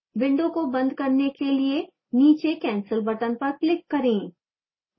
window को बंद करने के लिए नीचे cancel button पर click करें